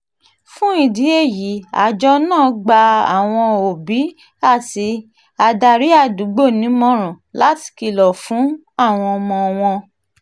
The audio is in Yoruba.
fún ìdí èyí àjọ náà gba àwọn òbí um àti adarí àdúgbò nímọ̀ràn láti kìlọ̀ fún um àwọn ọmọ wọn